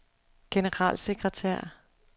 generalsekretær